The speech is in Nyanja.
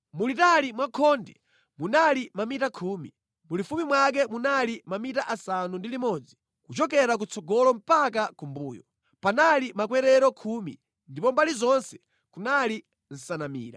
Mulitali mwa khonde munali mamita khumi, mulifupi mwake munali mamita asanu ndi limodzi kuchokera kutsogolo mpaka kumbuyo. Panali makwerero khumi, ndipo mbali zonse kunali nsanamira.